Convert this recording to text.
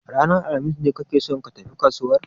Ranar alhamis ne kake son ka tafi kasuwar?